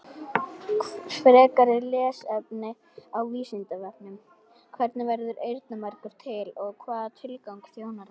Frekara lesefni á Vísindavefnum: Hvernig verður eyrnamergur til og hvaða tilgangi þjónar hann?